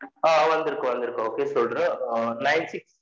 அம் வந்துருகு வந்துருகு okay சொல்ரென் nine six